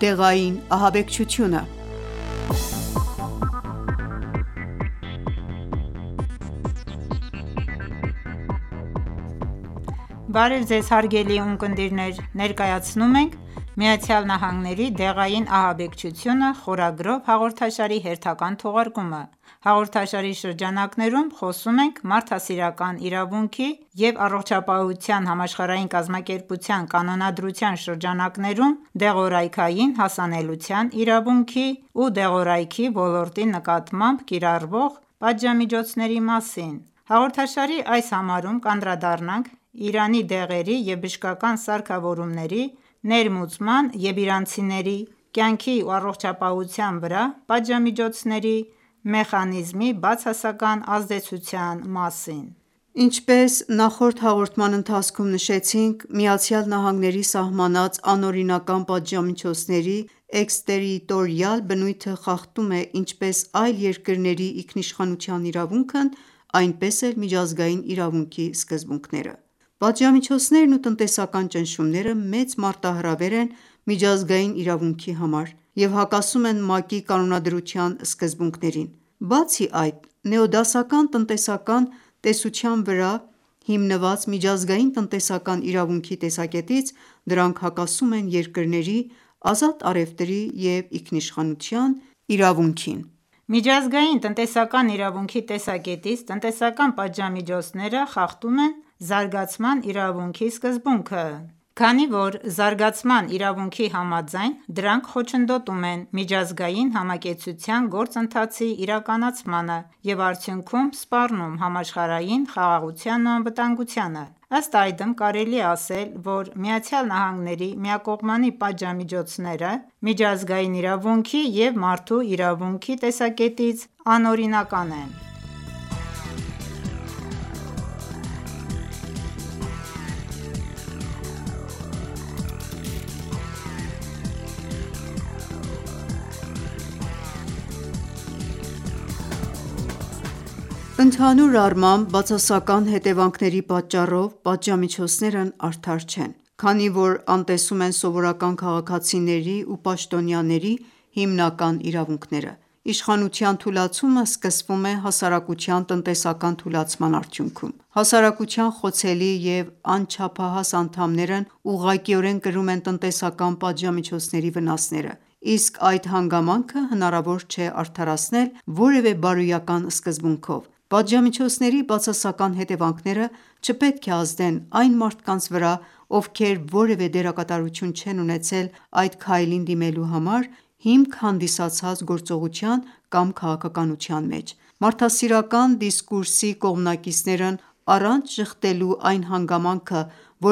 դեղային ահաբեկչությունը(3) Բարև Ձեզ, հարգելի ունկնդիրներ: Ներկայացնում ենք «ԱՄՆ-ի դեղային ահաբեկչությունը» խորագրով հաղորդաշարի հերթական թողարկումը: Հաղորդաշարի շրջանակներում խոսում ենք մարդասիրական իրավունքի և ԱՀԿ կանոնադրության շրջանակներում դեղորայքին հասանելիության իրավունքի ու դեղորայքի ոլորտի նկատմամբ կիրառվող պատժամիջոցների մասին: Հաղորդաշարի այս համարում կանդրադառնանք Իրան դեղերի և բժշկական սարքավորումների ներմուծման և իրանցիների կյանքի ու առողջության վրա պատժամիջոցների մեխանիզմի բացասական ազդեցության մասին: Ինչպես նշեցինք նախորդ հաղորդման ընթացքում, ԱՄՆ-ի սահմանած անօրինական պատժամիջոցների էքստերիտորիալ բնույթը խախտում է ինչպես այլ երկրների ինքնիշխանության իրավունքն այնպես էլ միջազգային իրավունքի սկզբունքները: Պատժամիջոցերն ու տնտեսական ճնշումները մեծ մարտահրավեր են միջազգային իրավունքի համար և հակասում են ՄԱԿ-ի կանոնադրության սկզբունքներին: Բացի այդ, նեոդասական տնտեսական տեսության վրա հիմնված միջազգային տնտեսական իրավունքի տեսակետից, դրանք հակասում են երկրների՝ ազատ առևտրի և ինքինշխանության իրավունքին: Միջազգային տնետսական իրավունքի տեսակետից, տնտեսական պատժամիջոցները խախտում են զարգացման իրավունքի սկզբունքը: Քանի որ զարգացման իրավունքի համաձայն՝ դրանք խոչընդոտում են միաջազգային համակեցության գործընթացի իրականացմանը և արդյունքում սպառնում համաշխարհային խաղաղությանն ու անվտանգությանը: Ըստ այդմ կարելի է ասել, որ ԱՄՆ-ի միակողմանի պատժամիջոցները, միջազգային իրավունքի և մարդու իրավունքի տեսակետից, անօրինական են: Ընդհանուր առմամբ, բացասական հետևանքների պատճառով, պատժամիջոցներն արդար չեն, քանի որ անտեսում են սովորական քաղաքացիների ու պաշտոնյաների հիմնական իրավունքները: Իշխանության թուլացումը սկսվում է հասարակության տնտեսական թուլացման արդյունքում: Հասարակության խոցելի և անչափահաս անդամներն ուղղակիորեն կրում են տնտեսական պատժամիջոցների վնասները: Իսկ այդ հանգամանքը հնարավոր չէ արդարացնել որևէ բարոյական սկզբունքով: Պատժամիջոցների բացասական հետևանքները չպետք է ազդեն այն մարդկանց վրա, ովքեր որևէ դերակատարություն չեն ունեցել այդ քայլին դիմելու համար հիմք հանդիսացած գործողության կամ քաղաքականության մեջ: Մարդասիրական դիսկուրսի կողմնակիցներն, առանց ժխտելու այն հանգամանքը,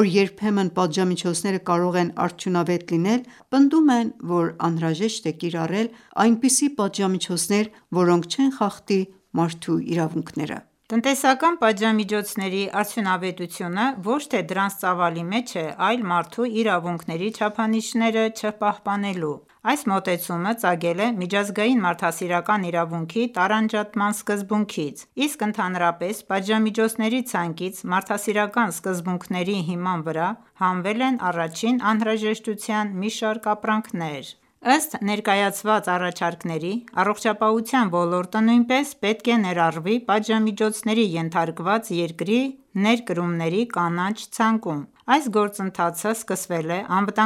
որ երբեմն պատժամիջոցները կարող են արդյունավետ լինել, պնդում են, որ անհրաժեշտ է կիրառել այնպիսի պատժամիջոցներ, որոնք չեն խախտի մարդու իրավունքները: Տնտեսական պատժամիջոցների արդյունավետությունը ոչ թե դրանց ծավալի մեջ է, այլ մարդու իրավունքների չափանիշները չպահպանելու: Այս մոտեցումը ծագել է միջազգային մարդասիրական իրավունքի տարանջատման սկզբունքից: Իսկ ընդհանրապես պատժամիջոցների ցանկից, մարդասիրական սկզբունքների հիման վրա, հանվել են առաջին անհրաժեշտության մի շարք ապրանքներ: Ըստ ներկայացված առաջարկների՝ առողջապահության ոլորտը նույնպես պետք է ներառվի պատժամիջոցների ենթարկված երկրի ներկրումների կանաչ ցանկում: Այս գործընթացը սկսվել է ԱԽ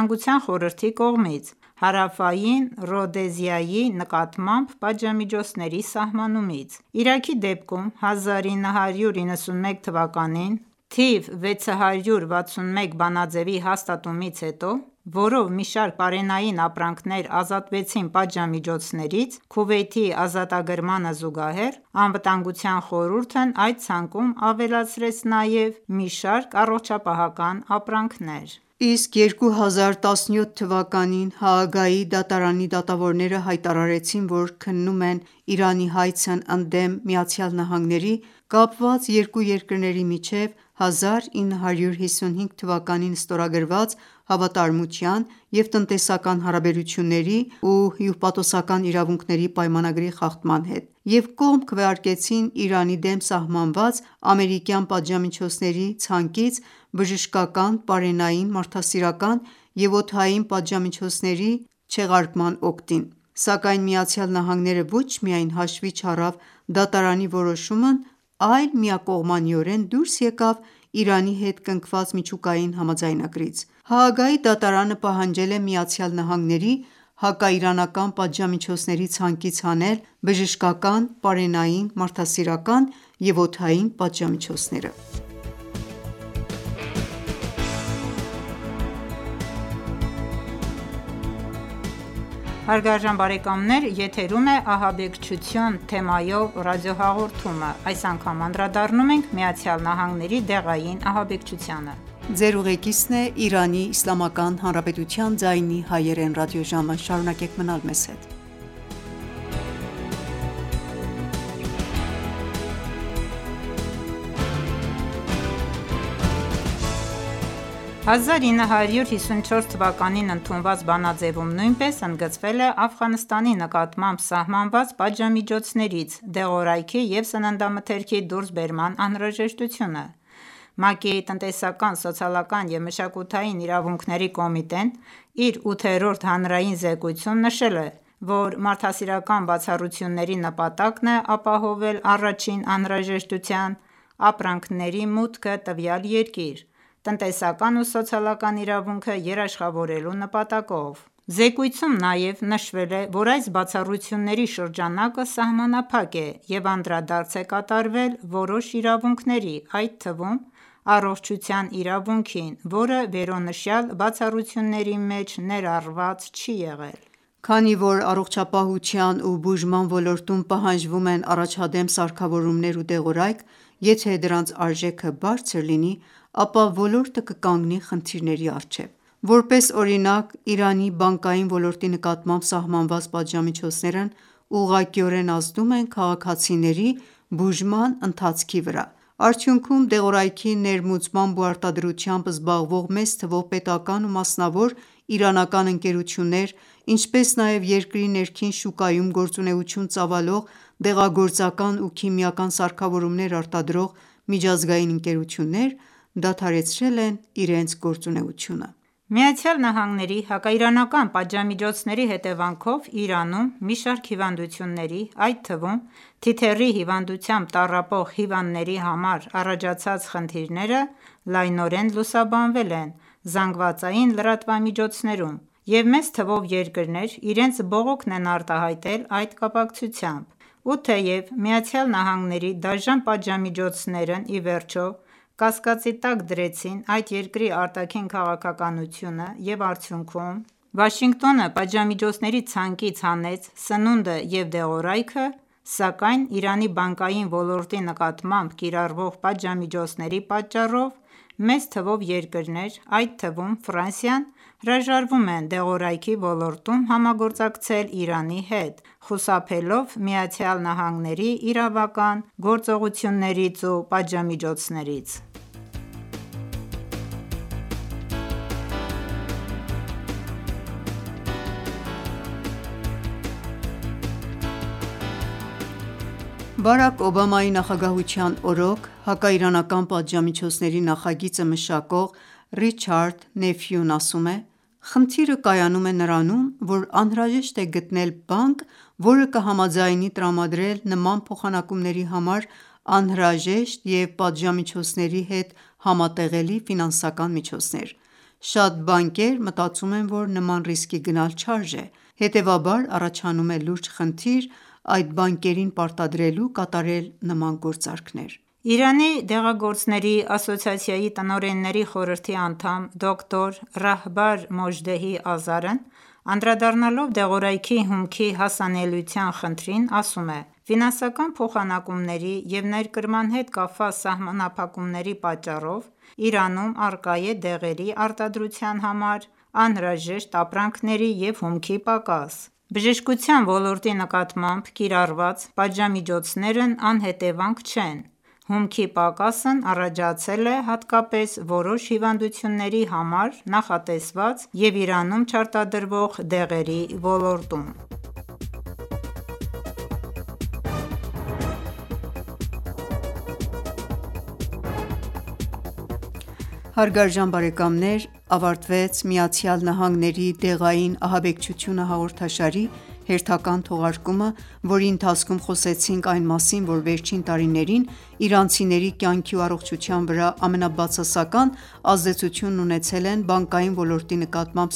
կողմից Հարավային Ռոդեզիայի նկատմամբ պատժամիջոցների սահմանումից: Իրաքի դեպքում, 1991թ. Թիվ 661 բանաձևի հաստատումից հետո, որով մի շարք պարենային ապրանքներ ազատվեցին պատժամիջոցներից, Քուվեյթի ազատագրմանը զուգահեռ, ԱԽ-ն այդ ցանկում ավելացրեց նաև մի շարք առողջապահական ապրանքներ: Իսկ 2017թ․ Հաագայի դատարանի դատավորները հայտարարեցին, որ քննում են Իրանի հայցն ընդդեմ ԱՄՆ-ի՝ կապված երկու երկրների միջև 1955 թ. ստորագրված Հավատարմության և տնտեսական հարաբերությունների ու հյուպատոսական իրավունքների պայմանագրի խախտման հետ և կողմ քվեարկեցին Իրանի դեմ սահմանված ամերիկյան պատժամիջոցների ցանկից բժշկական, պարենային, մարդասիրական և օդային պատժամիջոցների չեղարկման օգտին։ Սակայն ԱՄՆ-ն ոչ միայն հաշվի չառավ դատարանի որոշումն այլ միակողմանիորեն դուրս եկավ Իրանի հետ կնքված միջուկային համաձայնագրից: Հաագայի դատաանը պահանջել է ԱՄՆ-ի հակաիրանական պատժամիջոցների ցանկից հանել բժշկական, պարենային, մարդասիրական և օդային պատժամիջոցները։ 1954թ ընդունված բանաձևում նույնպես ընդգծվել է Աֆղանստանի նկատմամբ սահմանված պատժամիջոցներից դեղորայքի և սննդամթերքի դուրսբերման անհրաժեշտությունը: ՄԱԿ-ի տնտեսական, սոցիալական և մշակութային իրավունքների կոմիտեն իր ութերորոդ հանրային զեկույցում նշել է, որ մարդասիրական բացառությունների նպատակն է ապահովել առաջին անհրաժեշտության ապրանքմերի մուտքը տվյալ երկիր՝ տնտեսական ու սոցիալական իրավունքը երաշխավորելու նպատակով: Զեկույցում նաև նշվել է, որ այս բացառությունների շրջանակը սահմանափակ է և անդրադարձ է կատարվել որոշ իրավունքների, այդ թվում՝ առողջության իրավունքին, որը վերոնշյալ բացառությունների մեջ ներառված չի եղել: Քանի որ առողջապահության ու բուժման ոլորտում պահանջվում են առաջադեմ սարքավորումներ ու դեղորայք, եթե դրանց արժեքը բարձր լինի, ապա ոլորտը կկանգնի խնդիրների առջև: Որպես օրինակ՝ Իրանի բանկային ոլորտի նկատմամբ սահմանված պատժամիջոցներն ուղղակիորեն ազդում են քաղաքացիների բուժման ընթացքի վրա: Արդյունքում, դեղորայքի ներմուծմամբ ու արտադրությամբ զբաղվող մեծ թվով պետական ու մասնավոր իրանական ընկերություններ, ինչպես նաև երկրի ներքին շուկայում գործունեություն ծավալող դեղագործական ու քիմիական սարքավորումներ արտադրող միջազգային ընկերություններ, դադարեցրել են իրենց գործունեությունը: ԱՄՆ-ի հակաիրանական պատժամիջոցների հետևանքով Իրանում մի շարք հիվանդությունների, այդ թվում՝ թիթեռի հիվանդությամբ տառպող հիվանդների համար առաջացած խնդիրները լայնորեն լուսաբանվել են ԶԼՄ-ներում և մեծ թվով երկրներ իրենց բողոքն են արտահայտել այդ կապակցությամբ: Ու թեև ԱՄՆ-ի դաժան պատժամիջոցներն ի վերջո կասածի տակ դրեցին այդ երկրի արտաքին քաղաքականությունը և արդյունքում Վաշինգտոնը պատժամիջոցների ցանկից հանեց սնունդը և դեղորայքը, սակայն Իրանի բանկային ոլորտի նկատմամբ կիրառվող պատժամիջոցների պատճառով, մեծ թվով երկրներ, այդ թվում՝ Ֆրանսիան, հրաժարվում են դեղորայքի ոլորտում համագործակցել Իրանի հետ՝ խուսափելով ԱՄՆ-ի իրավական գործողություններից ու պատժամիջոցներից: Բարաք Օբամայի նախագահության օրոք հակաիրանական պատժամիջոցների նախագիծը մշակող Ռիչարդ Նեֆյուն ասում է. «Խնդիրը կայանում է նրանում, որ անհրաժեշտ է գտնել բանկ, որը կհամաձայնի տրամադրել նման փոխանակումների համար անհրաժեշտ և պատժամիջոցների հետ համատեղելի ֆինանսական միջոցներ: Շատ բանկեր մտածում են, որ նման ռիսկի գնալ չարժե, հետևաբար առաջանում է լուրջ խնդիր՝ այդ բանկերին պարտադրելու կատարել նման գործարքներ»: Իրանի դեղագործների ասոցիացիայի տնօրենների խորհրդի անդամ, դոկտոր Ռահբար Մոժդեհի Ազարն անդրադառնալով դեղորայքի հումքի հասանելիության խնդրին, ասում է. «Ֆինասնական փոխանակումների և ներկրման հետ կապված սահմանափակումների պատճառով, Իրանում առկա է դեղերի արտադրության համար անհրաժեշտ ապրանքերի և հումքի պակաս: Բժշկության ոլորտի նկատմամբ կիրառված պատժամիջոցներն անհետևանք չեն: Հումքի պակասն առաջացել է հատկապես որոշ հիվանդությունների համար նախատեսված և Իրանում չարտադրվող դեղերի ոլորտում»: Այս հաղորդման ընթացքում խոսեցինք այն մասին, որ վերջին տարիներին իրանցիների կյանքի ու առողջության վրա ամենաբացասական ազդեցությունն ունեցել են բանկային ոլորտի նկատմամբ